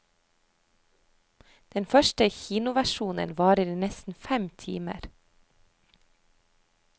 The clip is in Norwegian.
Den første kinoversjonen varer i nesten fem timer.